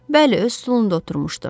Bəli, öz stulunda oturmuşdu.